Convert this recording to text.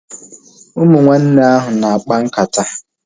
Ụmụ nwanne ahu na-akpa nkata